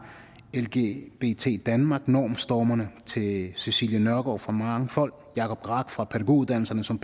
lgbt danmark normstormerne til cecilie nørgaard fra mangfold jacob graack fra pædagoguddannelserne som